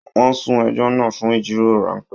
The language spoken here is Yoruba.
Wọ́n sún ẹjọ́ náà fún ìjíròrò ráńpẹ́